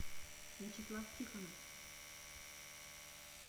вячеслав тихонов